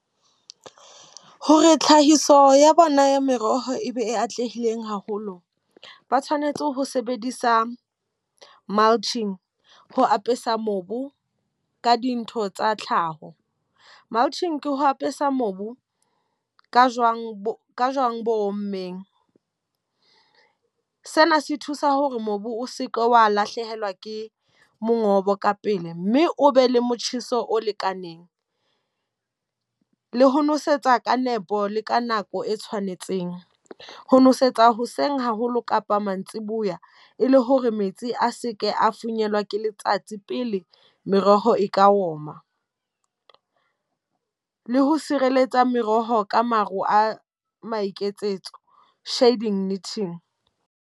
Hore tlhahiso ya bona ya meroho e be e atlehileng haholo. Ba tshwanetse ho sebedisa multim ho apesa mobu ka dintho tsa tlhaho. Multim ke ho apesa mobu ka jwang bo ka jwang bo ommeng. Sena se thusa hore mobu o seke wa lahlehelwa ke mongobo ka pele, mme o be le motjheso o lekaneng. Le ho nosetsa ka nepo le ka nako e tshwanetseng. Ho nosetsa hoseng haholo kapa mantsiboya, le hore metsi a seke a thunyelwa ke letsatsi tse pele meroho e ka oma. Le ho sireletsa meroho ka maro a maiketsetso, shedding knitting.